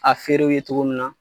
A feerew ye cogo min na.